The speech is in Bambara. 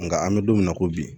Nka an bɛ don min na ko bi